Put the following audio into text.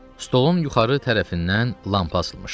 Stolun yuxarı tərəfindən lampa asılmışdı.